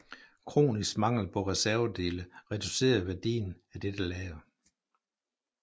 Kronisk mangel på reservedele reducerede værdien af dette lager